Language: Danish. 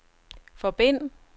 forbind